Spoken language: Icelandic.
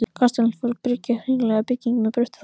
Kastalinn var forn hringlaga bygging með bröttu þaki.